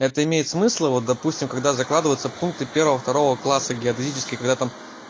это имеет смысла вот допустим когда закладываются пункты первого второго класса геодезически когда там